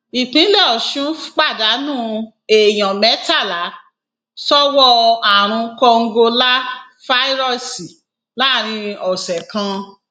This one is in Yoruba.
ìpínlẹ ọsùn pàdánù èèyàn mẹtàlá sọwọ àrùn kòǹgóláfàíróòsì láàrin ọsẹ kan